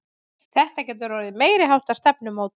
Þetta getur orðið meiriháttar stefnumót!